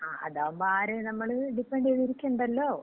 ങാ, അതാവുമ്പോ ആരേം നമ്മള് ഡിപ്പെന്‍റ് ചെയ്തിരിക്കണ്ടല്ലോ?